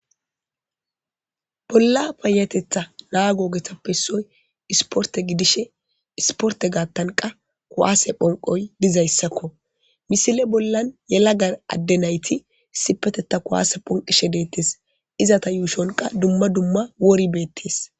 Bola payatetha nago ogerappe issog isporte gidishin isportte gadiyanqa khwasse phonqoy dizayssakko misile bollan yalaga adde naytti isipitetan kuwsse ponqishe dettesizzata yjshon dumma dumma wori betees